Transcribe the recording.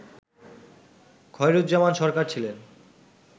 খয়রুজ্জামান সরকার ছিলেন